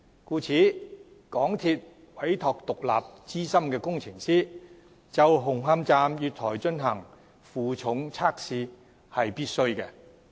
故此，港鐵公司委託獨立資深工程師就紅磡站月台進行負重測試是必須的。